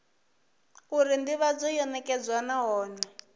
uri ndivhadzo yo nekedzwa nahone